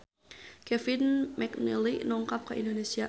Kevin McNally dongkap ka Indonesia